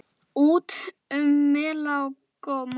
Út um mela og móa!